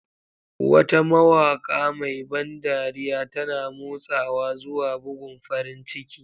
Wata mawaƙa mai ban dariya, tana motsawa zuwa bugun farin ciki.